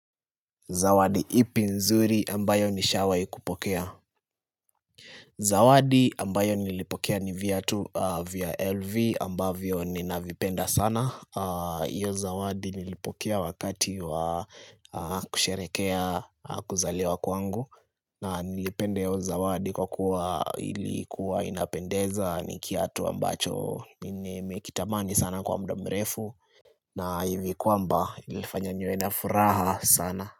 Zawadi ipi nzuri ambayo nishawaikupokea? Zawadi ambayo nilipokea ni viatu vya LV ambavyo ninavipenda sana hio Zawadi nilipokea wakati wa kusherehekea kuzaliwa kwangu na nilipenda hio Zawadi kwa kuwa ilikuwa inapendeza ni kiatu ambacho Ninimekitamani sana kwa muda mrefu na hivi kwamba ilifanya niwe na furaha sana.